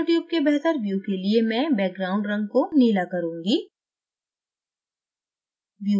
nanotube के बेहतर view के लिए मैं background रंग को नीला करुँगी